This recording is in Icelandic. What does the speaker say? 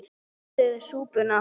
Þeir borðuðu súpuna.